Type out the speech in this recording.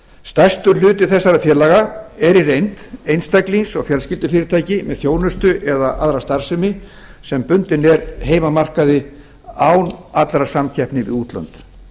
stærstur hluti þessara félaga er í reynd einstaklings og fjölskyldufyrirtæki með þjónustu eða aðra starfsemi sem bundin er heimamarkaði án allrar samkeppni við útlönd